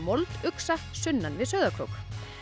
molduxa sunnan við Sauðárkrók